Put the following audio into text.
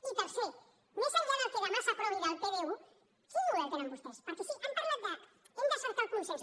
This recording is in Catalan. i tercer més enllà del que demà s’aprovi del pdu quin model tenen vostès perquè sí han parlat de hem de cercar el consens